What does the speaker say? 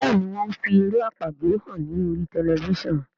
Béèni wón fí èrè àpagbè hàn ní orí Tẹlifísàn.